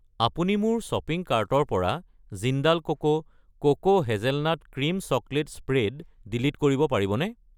আপুনি মোৰ শ্বপিং কাৰ্টৰ পৰা Jindal cocoa cocoa hazelnut cream chocolate spread delete কৰিব পাৰিবনে?